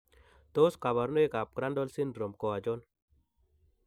Tos kabarunoik ab Crandall syndrome ko achon?